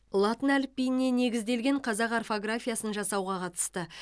латын әліпбиіне негізделген қазақ орфографиясын жасауға қатысты